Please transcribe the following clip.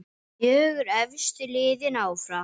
Fjögur efstu liðin áfram.